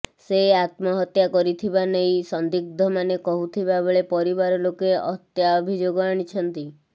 ସେ ଆତ୍ମହତ୍ୟା କରିଥିବା ନେଇ ସନ୍ଦିଗ୍ଧମାନେ କହୁଥିବା ବେଳେ ପରିବାର ଲୋକ ହତ୍ୟା ଅଭିଯୋଗ ଆଣିଛନ୍ତି